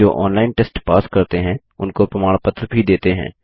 जो online test pass करते हैं उनको प्रमाण पत्र भी देते हैं